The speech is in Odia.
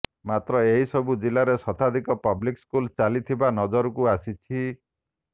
ମାତ୍ର ଏସବୁ ଜିଲ୍ଲାରେ ଶତାଧିକ ପବ୍ଲିକ୍ ସ୍କୁଲ୍ ଚାଲିଥିବା ନଜରକୁ ଆସିଛି